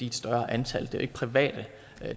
i et større antal det er ikke private